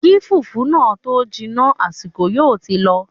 Kí fùfú náà tó jiná, àsìkò yóò ti lọ